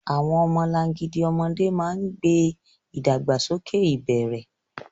Àwọn ọmọlangidi ọmọdé máa ń gbé ìdàgbàsókè ìbẹ̀rẹ̀.